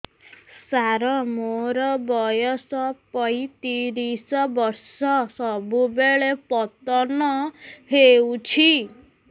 ସାର ମୋର ବୟସ ପୈତିରିଶ ବର୍ଷ ସବୁବେଳେ ପତନ ହେଉଛି